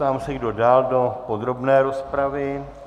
Ptám se, kdo dál do podrobné rozpravy.